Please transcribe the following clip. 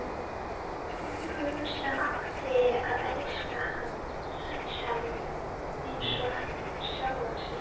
Hún sem átti að elska hann eins og sjálfa sig.